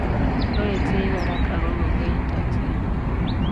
Aweksei korak ago kongoi en toksengwog.